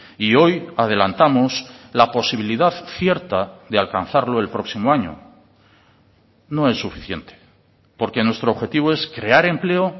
y hoy adelantamos la posibilidad cierta de alcanzarlo el próximo año no es suficiente porque nuestro objetivo es crear empleo